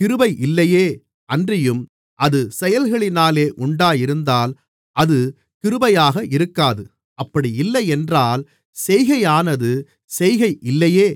கிருபை இல்லையே அன்றியும் அது செயல்களினாலே உண்டாயிருந்தால் அது கிருபையாக இருக்காது அப்படியில்லை என்றால் செய்கையானது செய்கை இல்லையே